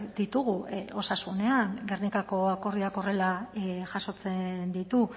ditugu osasunean gernikako akordioak horrela jasotzen ditu